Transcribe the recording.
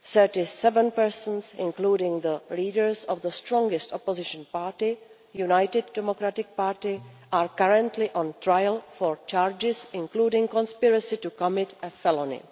Thirty seven persons, including the leaders of the strongest opposition party, the United Democratic Party, are currently on trial on charges including conspiracy to commit a felony.